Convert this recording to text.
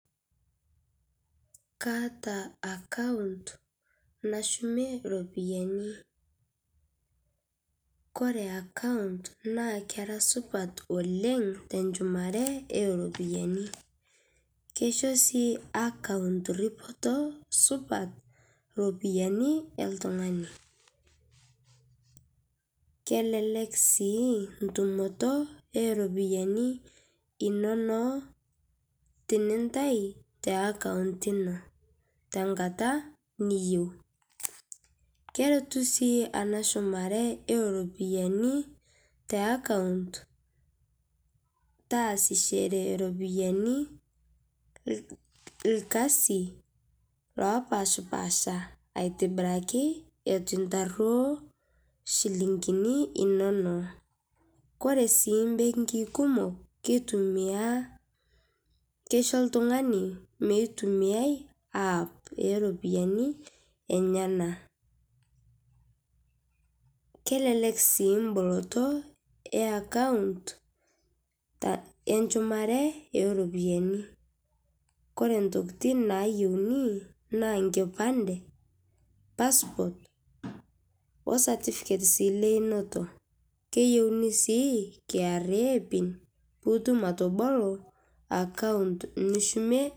Kaata account nashumie ropiyani, kore account naa kera supat oleng' tenshumare eropiyani. keisho sii account ripotoo supat ropiyani eltung'ani. kelelek sii ntumotoo eropiyani inonoo tinintai te account inoo tankata niyeu. Keretuu sii ana shumaree eropiyanii te account taasishere ropiyani lkazii lopashpaasha aitibirakii etu intaruo shilinginii inonoo. Kore sii mbengii kumok keitumia keisho ltunganii meitumiayai  app eropiyani enyanaa. Kelelek sii mbolotoo ee account enshumare eropiyani Kore ntokitin nayeunii naa nkipandee passport oo certificate sii leunotoo keyeuni sii kra pin piitum atoboloo account nishumie.